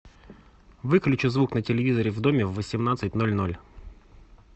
выключи звук на телевизоре в доме в восемнадцать ноль ноль